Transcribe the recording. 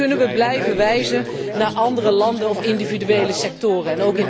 En nu kunnen we blijven wijzen naar andere landen of individuele sectoren.